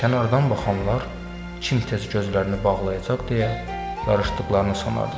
Kənardan baxanlar kim tez gözlərini bağlayacaq deyə yarışdıqlarını sanardılar.